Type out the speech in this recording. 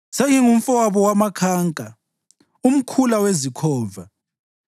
Sengingumfowabo wamakhanka, umkhula wezikhova.